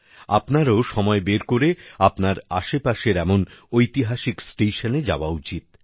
আপনারাও সময় বের করে আপনার আশেপাশের এমন ঐতিহাসিক স্টেশনে যাওয়া উচিত